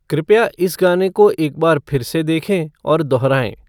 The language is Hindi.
कृपया इस गाने को एक बार फिर से देखें और दोहराएँ